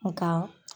Nka